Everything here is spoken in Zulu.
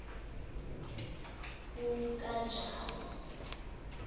ukanjalo